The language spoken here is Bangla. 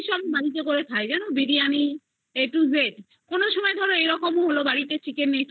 রান্না করে খাই জানো biryani a to z এরকম হলো বাড়িতে ধরো chicken